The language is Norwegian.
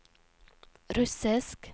russisk